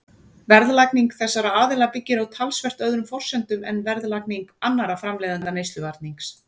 Verðlagning þessara aðila byggir á talsvert öðrum forsendum en verðlagning annarra framleiðenda neysluvarnings.